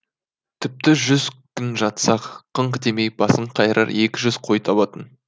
тіпті жүз күн жатсаң қыңқ демей басын қайырар екі жүз қой табатын